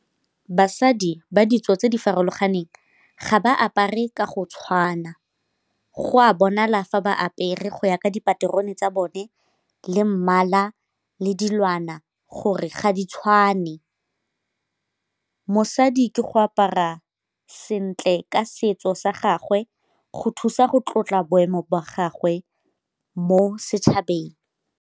Basadi ba ditso tse di farologaneng ga ba apare ka go tshwana, go a bonala fa ba apere go ya ka dipaterone tsa bone le mmala le dilwana go gore ga di tshwane. Mosadi ke go apara sentle ka setso sa gagwe go thusa go tlotla boemo jwa gagwe mo setšhabeng.